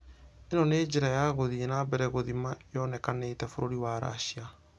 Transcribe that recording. Ĩno nĩo njĩra ya gũthie na mbere gũthima .....yonĩkanĩte bũrũri wa russia.